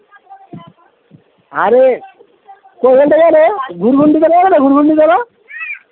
আরে